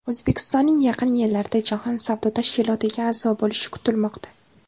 O‘zbekistonning yaqin yillarda Jahon savdo tashkilotiga a’zo bo‘lishi kutilmoqda.